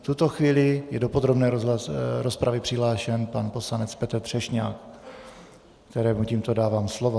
V tuto chvíli je do podrobné rozpravy přihlášen pan poslanec Petr Třešňák, kterému tímto dávám slovo.